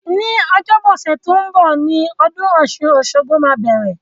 Ní ọjọ́bọ ọ̀sẹ̀ to n bo ni odún osun-osogbo máa bẹ̀rẹ̀